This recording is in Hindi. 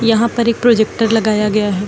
यहां पर एक प्रोजेक्टर लगाया गया है।